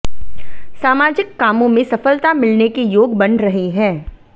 सामाजिक कामों में सफलता मिलने के योग बन रहे हैं